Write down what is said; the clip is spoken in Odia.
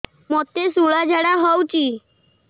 ମୋତେ ଶୂଳା ଝାଡ଼ା ହଉଚି